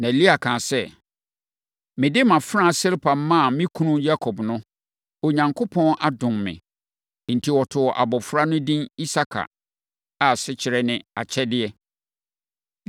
Na Lea kaa sɛ, “Mede mʼafenaa Silpa maa me kunu Yakob no, Onyankopɔn adom me.” Enti, wɔtoo abɔfra no edin Isakar a asekyerɛ ne “Akyɛdeɛ.”